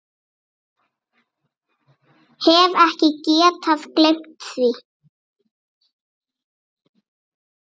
Hef ekki getað gleymt því.